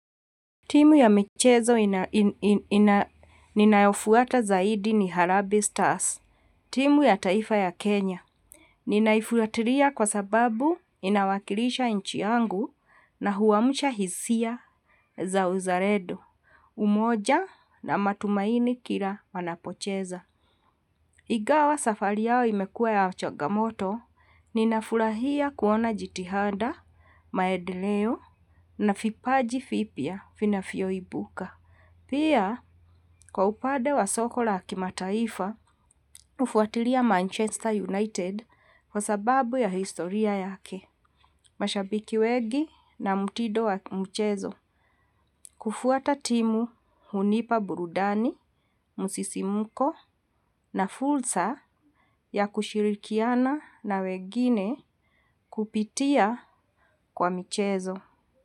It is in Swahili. Timu ya michezo ninayofuata zaidi ni Harambee Stars. Timu ya taifa ya Kenya. Ninaifuatilia kwa sababu inawakilisha nchi yangu na huamsha hisia za uzalendo. Umoja na matumaini kila wanapocheza. Ingawa safari yao imekuwa ya changamoto. Ninafurahia kuona jitihada, maendeleo na vipaji vipya vinvyoibuka. Pia, kwa upande wa soko la kimataifa, nafuatilia Manchester United kwa sababu ya historia yake, mashabiki wengi na mtindo wa mchezo, kufuata timu hunipa burudani, msisimuko na fursa ya kushirikiana na wengine kupitia kwa mchezo.